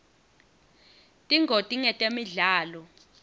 tingoti ngetemidlalo